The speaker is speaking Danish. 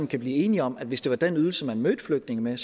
kan blive enige om at hvis det var den ydelse man mødte flygtninge med